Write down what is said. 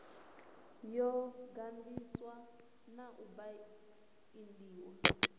yo ganḓiswa na u baindiwa